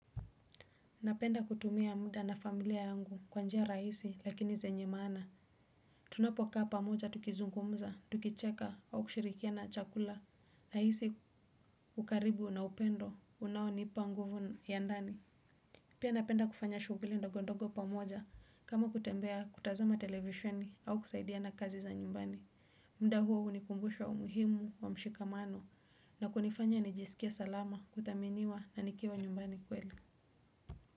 Napenda kutumia muda na familia yangu kwa njia rahisi lakini zenye maana. Tunapokaa pamoja tukizungumza, tukicheka au kushirikiana chakula. Nahisi ukaribu na upendo unaonipa nguvu ya ndani. Pia napenda kufanya shughuli ndogondogo pamoja kama kutembea kutazama televisheni au kusaidiana kazi za nyumbani. Muda huo hunikumbusha umuhimu wa mshikamano na kunifanya nijisikie salama kudhaminiwa na nikiwa nyumbani kweli.